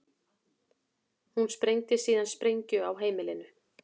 Hún sprengdi síðan sprengju á heimilinu